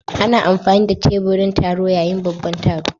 Ana amfani da teburin taro yayin babban taro.